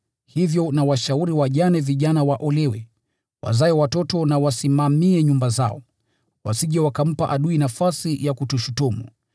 Hivyo nawashauri wajane vijana waolewe, wazae watoto na wasimamie nyumba zao, wasije wakampa adui nafasi ya kutushutumu.